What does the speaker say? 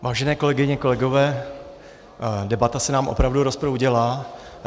Vážené kolegyně, kolegové, debata se nám opravdu rozproudila.